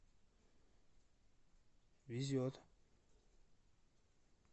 везет